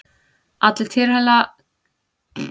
Allir tilheyra ákveðnum hópum sem eru lítil samfélög.